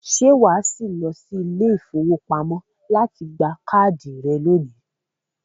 ṣé wà á sì lọ sí ilé-ìfowópamọ́ láti gba káàdì rẹ̀ lónìí?